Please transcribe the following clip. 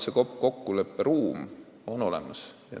Kokkuleppe ruum on olemas.